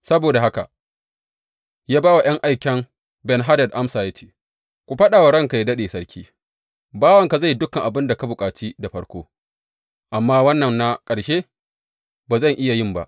Saboda haka ya ba wa ’yan aikan Ben Hadad amsa, ya ce, Ku faɗa wa ranka yă daɗe, sarki, Bawanka zai yi dukan abin da ka bukaci da farko, amma wannan na ƙarshe ba zan iya yin ba.’